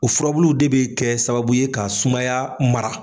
O furabuluw de be kɛ sababu ye ka sumaya mara.